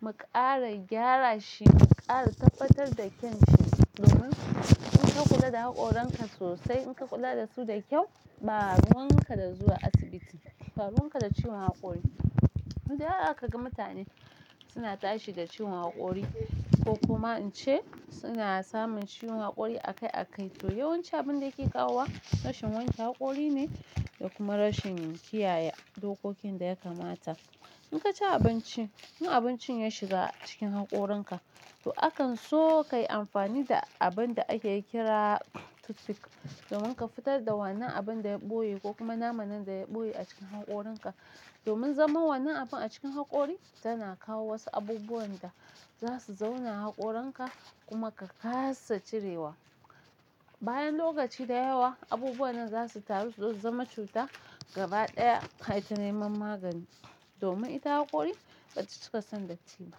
mu ƙara gyara shi, mu ƙara tabbatar da kyan shi domin in ka kula da hakoranka sosai in ka kula da su da kyau ba ruwan ka da zuwa asibiti. Ba ruwan ka da ciwon hakori. Son dayawa zaka ga mutane suna tashi da ciwon hakori ko kuma in ce suna samun ciwon hakori akai akai to yawanci abin da yake kawo wa rashin wanke hakori ne da kuma rashin kiyaye dokokin da ya kamata. In ka ci abinci in abincin ya shiga cikin hakoranka to akan so ka yi amfani da abin da ake kira toothpick domin ka fitar da wannan abin da ya ɓoye ko kuma namanin da ya ɓoye a cikin hakoranka. Domin zaman wannan abin a cikin hakori tana kawo wasu abubuwan da za su zauna a hakoranka kuma ka kasa cirewa. Bayan lokaci da yawa abubuwan nan za su taru su zama cuta gaba ɗaya kayi ta neman magani domin ita hakori bata cika son datti ba.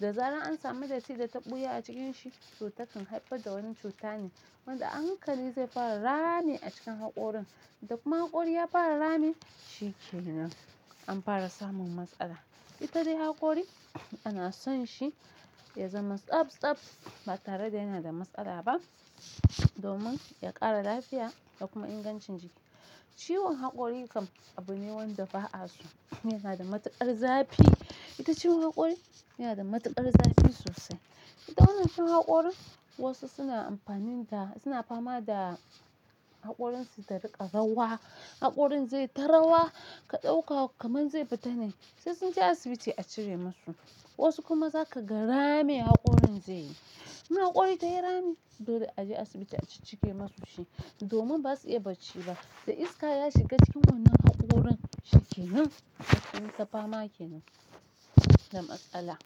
Da zarar an sami dattin da ta ɓuya a cikin shi to takan haifar da wani cuta ne wanda a hankali zai fara rami a cikin hakorin da kuma hakori ya fara rami shi kenan an fara samun matsala. Ita dai hakori ana son shi ya zama tsabtsab ba tare da yana da matsala ba domin ya ƙara lafiya da kuma ingancin jiki. Ciwon hakori kam abu ne wanda ba'a so. Yana da matukar zafi. Ita ciwon hakori yana da matukar zafi sosai. Ita wannan ciwon hakorin wasu suna amfanin da suna fama da hakorin su ta riƙa rawa. Hakorin zai ta rawa ka ɗauka kaman zai fitane sai sun je asibiti a cire masu. Wasu kuma za ka ga rami hakorin zai yi. In hakori tayi rami? To dai a je asibiti a ci cike masu shi domin bazasu iya bacci ba. Da iska ya shiga cikin wannan hakorin shi kenan. Sunyi ta fama kenan da matsala.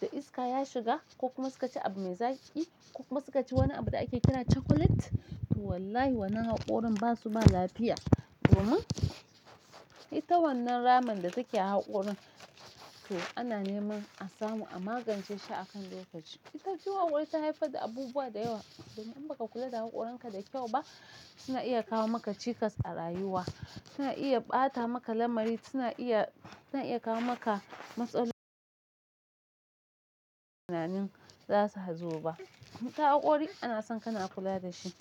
Da iska ya shiga ko kuma suka ci abu mai zaki ko kuma suka ci wani abu da ake kira cakulet to wallahi wannan hakorin ba su ba lafiya domin ita wannan ramin da take a hakorin to ana neman a samu a magance shi akan lokaci. Ita ciwon hakori ta haifar da abubuwa da yawa domin baka kula da hakoranka da kyau ba suna iya kawo maka cikas a rayuwa. Suna iya ɓata maka lamari suna iya suna iya kawo maka matsalo-- nanin za su hazo ba. Ita hakori ana son kana kula da shi.